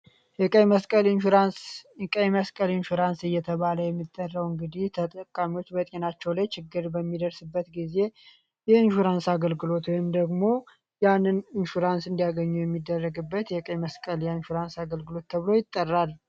ቀይ መስቀል ኢንሹራንስ እየተባለ የሚጠረውን እንግዲህ ተጠቃሚዎች በቴናቸው ላይ ችግር በሚደርስበት ጊዜ የእንሹራንስ አገልግሎት ወይንም ደግሞ ያንን ኢንሹራንስ እንዲያገኙ የሚደረግበት የቀይ መስቀል የኢሹራንስ አገልግሎት ተብሎ ይጠራል።